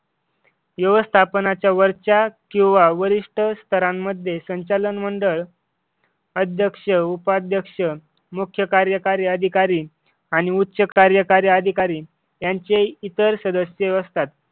व्यवस्थापनाच्या वरच्या किंवा वरिष्ठ स्तरांमध्ये संचालन मंडळ अध्यक्ष उपाध्यक्ष मुख्य कार्यकारी अधिकारी आणि उच्च कार्यकारी अधिकारी त्यांचे इतर सदस्य असतात.